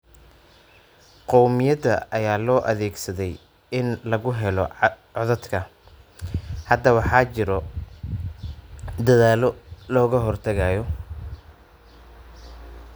Qowmiyada ayaa loo adeegsaday in lagu helo codadka. Hadda waxaa jira dadaallo looga hortagayo.